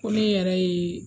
Ko ne yɛrɛ ye